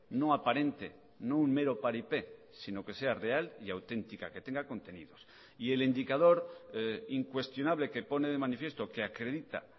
no aparente no un mero paripé sino que sea real y auténtica que tenga contenidos y el indicador incuestionable que pone de manifiesto que acredita